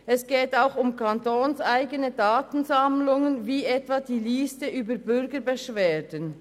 Es geht auch um kantonseigene Datensammlungen wie etwa die Liste über Bürgerbeschwerden.